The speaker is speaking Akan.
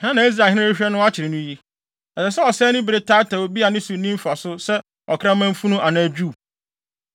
“Hena na Israelhene rehwehwɛ no akyere no yi? Ɛsɛ sɛ ɔsɛe ne bere taataa obi a ne so nni mfaso sɛ ɔkraman funu anaa dwiw?